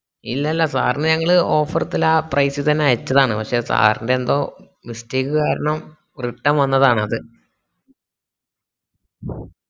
ഇല്ലല്ലാ sir ന് ഞങ്ങള് offer ആ price ൽ തന്നെ അയച്ചതാണ് പക്ഷെ sir ന്റെന്തോ mistake കാരണം return വന്നതാണത്